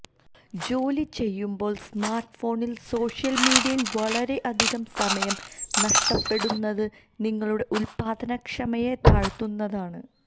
ജോലി ചെയ്യുമ്പോള് സ്മാര്ട്ട്ഫോണില് സോഷ്യല് മീഡിയയില് വളരെ അധികം സമയം നഷ്ടപ്പെടുന്നത് നിങ്ങളുടെ ഉല്പാദന ക്ഷമതയെ താഴ്ത്തുന്നതാണ്